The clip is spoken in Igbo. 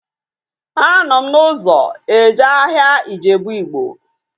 Anọ m n'ụzọ eje ahịa Ijebu Ịgbo